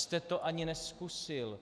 Vždyť jste to ani nezkusil.